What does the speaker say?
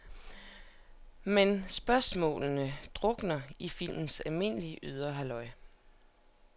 Men spørgsmålene drukner i filmens almindelige, ydre halløj.